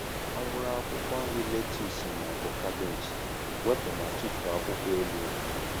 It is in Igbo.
Ọ bụrụ akwụkwọ nri lettuce ma ọ bụ cabbage, wepụ ma tụfuo akwụkwọ elu ya.